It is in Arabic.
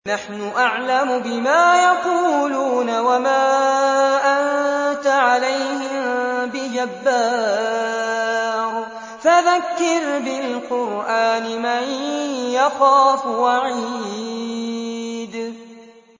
نَّحْنُ أَعْلَمُ بِمَا يَقُولُونَ ۖ وَمَا أَنتَ عَلَيْهِم بِجَبَّارٍ ۖ فَذَكِّرْ بِالْقُرْآنِ مَن يَخَافُ وَعِيدِ